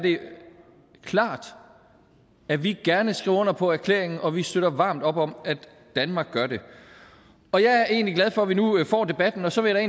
klart at vi gerne skriver under på erklæringen og at vi støtter varmt op om at danmark gør det og jeg er egentlig glad for at vi nu får debatten så vil jeg